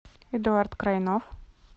эдуард крайнов